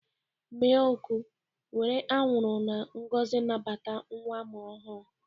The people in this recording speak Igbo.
Mee ọkụ! Were anwụrụ na ngọzi nabata nwa amụrụ ọhụrụ.